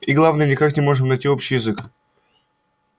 и главное никак не можем найти общий язык